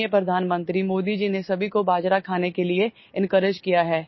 हाल ही मेंमाननीय प्रधानमंत्री मोदी जी ने सभी को बाजरा खाने के लिएencourage किया है